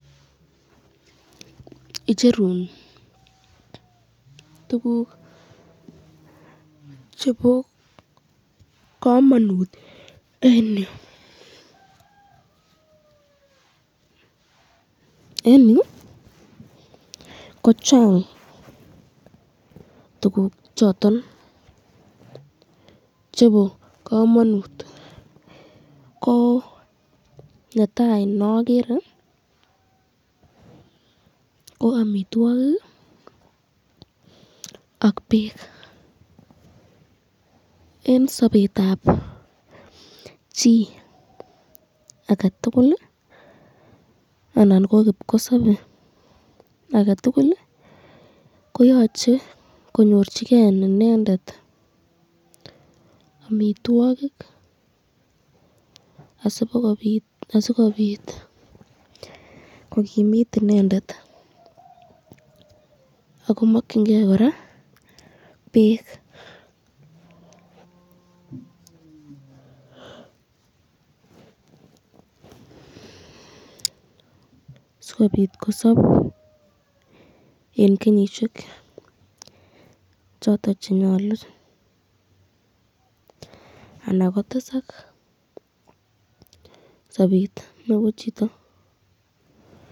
Icherun tukuk chebo kamanut eng yu, eng yu kochang tukuk choton chebo kamanut kot netai neagere ko amitwokik ak bek eng sabetab chi aketul anan ko kibkosobe aketukul koyache konyorchiken inendet amitwokik asikobit kokimit inendet akomakyinke , sikobit kosab eng kenyishek choton chenyalu akotesak sabet nebo chito.